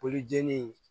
Poli jeni